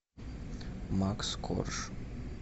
макс корж